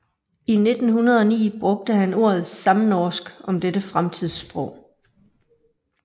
I 1909 brugte han ordet samnorsk om dette fremtidssprog